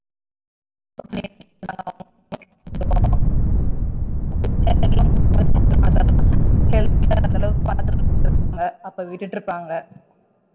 பாத்துட்டு இருந்து இருப்பாங்க அப்ப விட்டுட்டு இருப்பாங்க